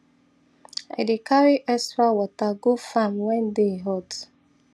i dey carry extra water go farm when day hot